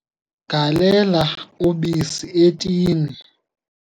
galela ubisi etini